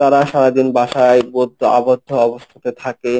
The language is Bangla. তারা সারাদিন বাসায় বদ্ধ আবদ্ধ অবস্থায় থাকে।